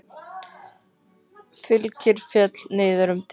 Fylkir féll niður um deild.